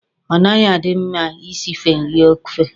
Ọ naghị adị mma Ị sife nri ofe.